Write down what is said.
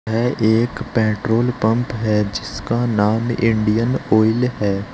यह एक petrol pump है जिसका नाम इंडियन ऑयल है।